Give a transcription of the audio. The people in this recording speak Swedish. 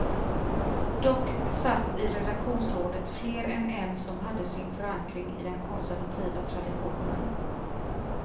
Dock satt i redaktionsrådet fler än en som hade sin förankring i den konservativa traditionen.